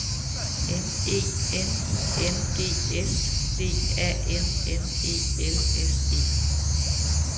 M E N I N G S D A N N E L S E